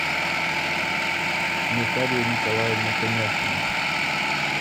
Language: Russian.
наталья николаевна коняхина